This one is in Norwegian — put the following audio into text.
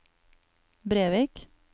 Brevik